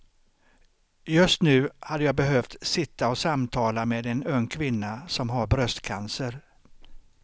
Just nu hade jag behövt sitta och samtala med en ung kvinna som har bröstcancer.